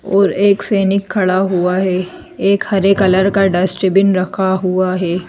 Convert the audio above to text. और एक सैनिक खड़ा हुआ है एक हरे कलर का डस्टबिन रखा हुआ है।